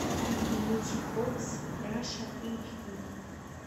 мьюзик бокс раша эйч ди